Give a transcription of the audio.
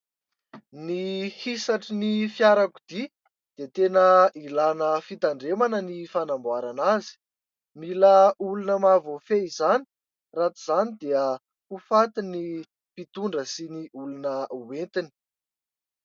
Ny hisatry ny fiarakodia dia tena ilàna fitandremana ny fanamboarana azy. Mila olona mahavoafehy izany raha tsy izany dia ho faty ny mpitondra sy ny olona hoentiny.